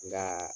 Nka